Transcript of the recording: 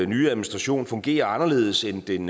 nye administration fungerer anderledes end den